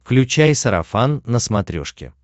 включай сарафан на смотрешке